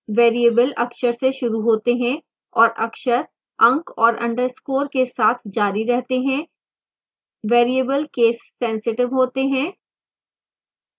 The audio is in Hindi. variable अक्षर से शुरू होते हैं और अक्षर अंक और underscores के साथ जारी रहते हैं variable केससेंसिटिव होते हैं